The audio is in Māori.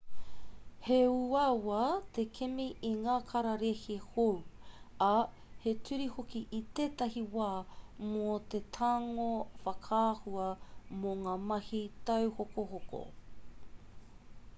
he uaua te kimi i ngā kararehe hou ā he ture hoki i ētahi wā mō te tango whakaahua mō ngā mahi tauhokohoko